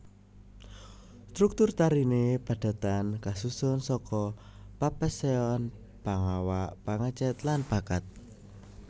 Struktur tarine padatan kasusun saka Papeseon Pangawak Pangecet lan Pakaad